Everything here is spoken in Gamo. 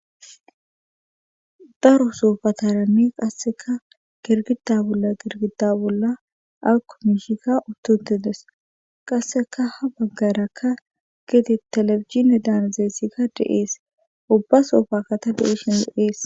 Daro soofa tarami qasseka girgida bolla girgida bolla akomishika uttutides qasseka ha baggarakka gede telefihine daanazeessika deees ubba soofaka ta de'ishin do'ees.